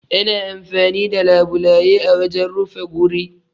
Ana amfani da labulaye a wajen rufe guri